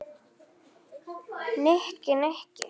Nikki, Nikki!